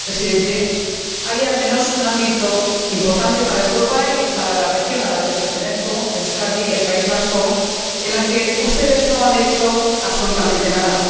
Señor Presidente, hay, al menos, un ámbito importante para Europa y para la región a la que pertenezco ―Euskadi, el País Vasco― en el que ustedes no han hecho absolutamente nada.